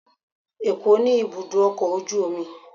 ẹkọ ni ibudọ ọkọ ojú omí